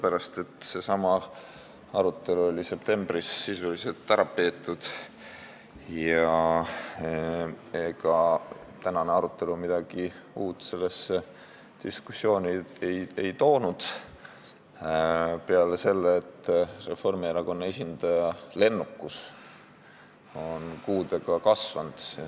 Seesama arutelu sai septembris sisuliselt ära peetud ja ega tänane arutelu midagi uut sellesse diskussiooni ei toonud, peale selle, et Reformierakonna esindaja lennukus on kuudega kasvanud.